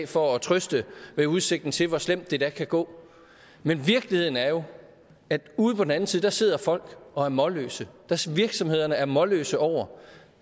for at trøste ved udsigten til hvor slemt det da kan gå men virkeligheden er jo at ude på den anden side sidder folk og er målløse virksomhederne er målløse over